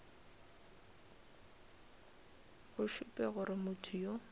go šupe gore motho yo